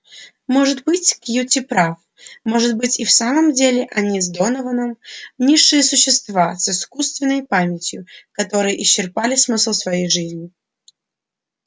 может быть кьюти прав может быть и в самом деле они с донованом низшие существа с искусственной памятью которые исчерпали смысл своей жизни